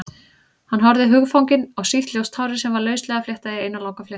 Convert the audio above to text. Hann horfði hugfanginn á sítt, ljóst hárið sem var lauslega fléttað í eina langa fléttu.